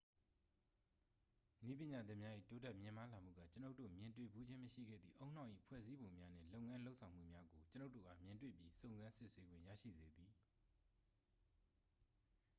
နည်းပညာသစ်များ၏ တိုးတက်မြင့်မားလာမှုက ကျွန်ုပ်တို့ မြင်တွေ့ဖူးခြင်းမရှိခဲ့သည့် ဦးနှောက်၏ ဖွဲ့စည်းပုံများနှင့် လုပ်ငန်းလုပ်ဆောင်မှုများကို ကျွန်ုပ်တို့အား မြင်တွေ့ပြီး စုံစမ်းစစ်ဆေးခွင့်ရရှိစေသည်